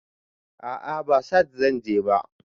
A'a ba sahad zanje ba